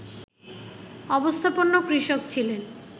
অবস্থাপন্ন কৃষক ছিলেন